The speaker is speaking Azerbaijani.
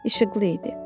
İşıqlı idi.